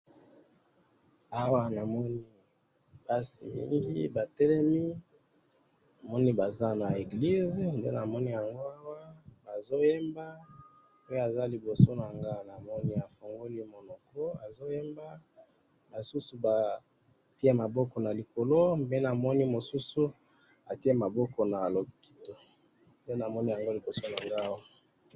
Awa namoni basi mingi batelemi, namoni baza na eglise nde namoni yango awa bazoyemba ,oyo aza liboso na nga namoni afongoli monoko azo yemba basusu batie maboko na likolo mais namoni mosusu atie maboko na loketo nde namoni yango liboso na ngai awa